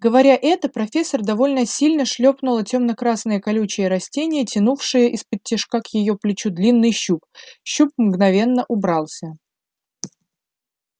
говоря это профессор довольно сильно шлёпнула темно красное колючее растение тянувшее исподтишка к её плечу длинный щуп щуп мгновенно убрался